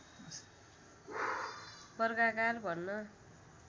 वर्गाकार भन्न